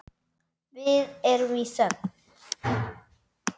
Við erum í þögn.